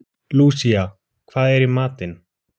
Lúsía, hvað er í matinn?